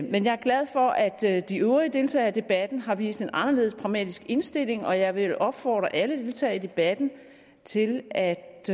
men jeg er glad for at de øvrige deltagere i debatten har vist en anderledes pragmatisk indstilling og jeg vil opfordre alle deltagere i debatten til at